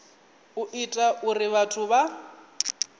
u ita uri vhathu vha